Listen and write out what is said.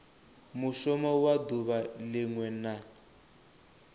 mushumo wa duvha linwe na